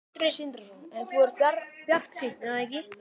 Sindri Sindrason: En þú ert bjartsýn er það ekki?